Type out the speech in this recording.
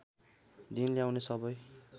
दिन ल्याउने सबै